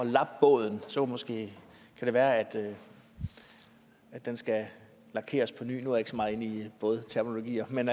lappe båden og så måske være at den skal lakeres på ny nu er jeg ikke så meget inde i bådterminologier men